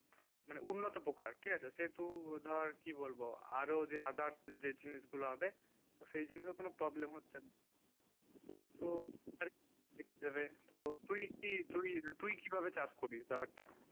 মানে উন্নত প্রকার ঠিক আছে সে টু ধর কি বলবো আরও যে others যে জিনিস গুলু হবে সেই জিনিস ওখানে problem হচ্ছে তো আর কি দেবে ধর তুই কি তুই কি ভাবে চাষ করিস ব্যাপার টা